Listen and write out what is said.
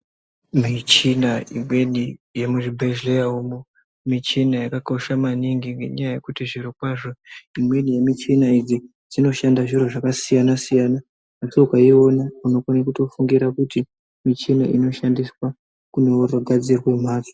Michina imweni yemuzvibhehleya umo michina yakakosha maningi ngenyaya yekuti zvirokwazvo imweni yemichina idzi dzinoshanda zviro zvakasiyana-siyana, asi ukaiona unokona kutofungira kuti michina inoshandiswa kunozogadzire mhatso.